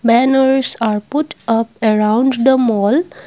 banners are put up around the mall.